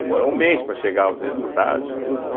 Demorou um mês para chegar os resultados, tudo, né?